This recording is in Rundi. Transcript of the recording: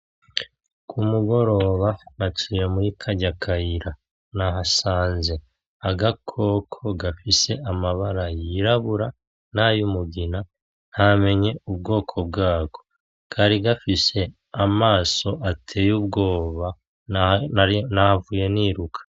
K'umugoroba naciye muri karya kayira nahasanze agakoko gafise amabara y'irabura nay'umugina ntamenye ubwoko bwako kari gafise amaso ateye ubwoba nahavuye niruka.